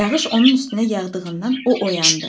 Yağış onun üstünə yağdığından o oyandı.